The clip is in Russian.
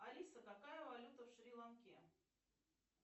алиса какая валюта в шри ланке